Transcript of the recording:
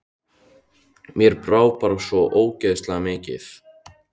Mér brá bara svo ógeðslega mikið.